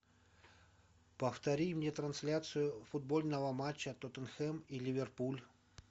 повтори мне трансляцию футбольного матча тоттенхэм и ливерпуль